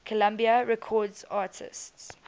columbia records artists